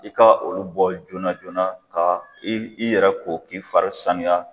I ka olu bɔ joona joona ka i yɛrɛ ko k'i fari sanuya